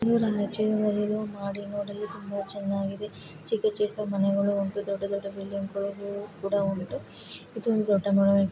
ಈ ಒಂದು ಚಿತ್ರದಲ್ಲಿ ಮಹಡಿ ನೋಡಲು ತುಂಬಾ ಚೆನ್ನಾಗಿದೆ ಚಿಕ್ಕ ಚಿಕ್ಕ ಮನೆಗಳು ಉಂಟು ದೊಡ್ಡ ದೊಡ್ಡ ಬಿಲ್ಡಿಂಗ್‌ ಕೂಡ ಉಂಟು ಇದು ಒಂದು ದೊಡ್ಡ